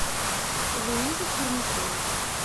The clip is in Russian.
луизе чернышевой